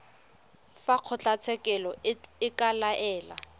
fa kgotlatshekelo e ka laela